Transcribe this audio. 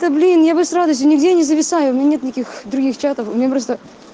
та блин я бы с радостью нигде не зависаю у меня нет никаких других чатов у меня просто